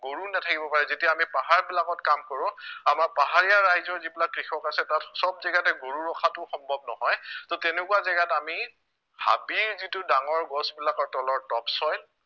গৰুও নাথাকিব পাৰে, যেতিয়া আমি পাহাৰবিলাকত কাম কৰো আমাৰ পাহাৰীয়া ৰাইজৰ যিবিলাক কৃষক আছে তাত সৱ জাগাতে গৰু ৰখাতো সম্ভৱ নহয় তহ তেনেকুৱা জাগাত আমি হাবিৰ যিটো ডাঙৰ গছবিলাকৰ তলৰ topsoil